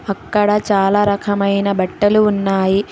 అక్కడ చాలా రకమైన బట్టలు ఉన్నాయి.